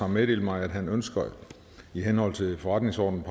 meddelt mig at han ønsker i henhold til forretningsordenens